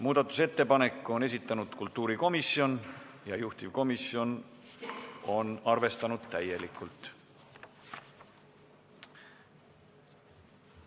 Muudatusettepaneku on esitanud kultuurikomisjon ja juhtivkomisjon on seda täielikult arvestanud.